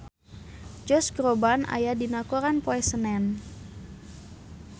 Josh Groban aya dina koran poe Senen